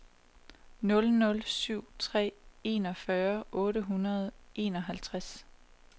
nul nul syv tre enogfyrre otte hundrede og enoghalvtreds